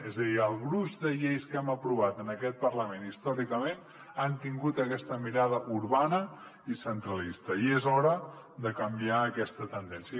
és a dir el gruix de lleis que hem aprovat en aquest parlament històricament ha tingut aquesta mirada urbana i centralista i és hora de canviar aquesta tendència